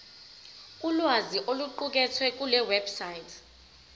ulwazi oluqukethwe kulewebsite